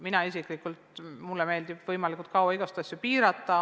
Mulle isiklikult meeldib võimalikult kaua igasuguseid asju piirata.